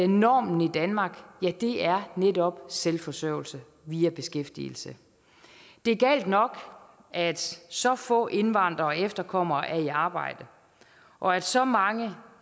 normen i danmark netop er selvforsørgelse via beskæftigelse det er galt nok at så få indvandrere og efterkommere er i arbejde og at så mange